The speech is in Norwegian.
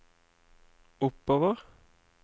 oppover